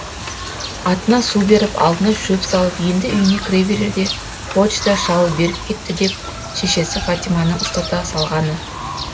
атына су беріп алдына шөп салып енді үйіне кіре берерде почта шал беріп кетті деп шешесі фатиманың ұстата салғаны